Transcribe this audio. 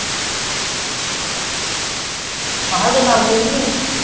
ਮੈਂ ਕਿਹਾ ਹਜੇ ਕੰਮ ਤੇ ਨਹੀਂ ਗਏ